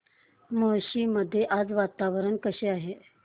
मुळशी मध्ये आज वातावरण कसे आहे